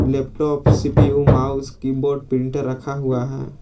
Laptop CPU mouse keyboard printer रखा हुआ है।